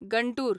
Guntur